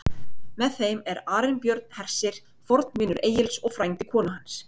Með þeim er Arinbjörn hersir, fornvinur Egils og frændi konu hans.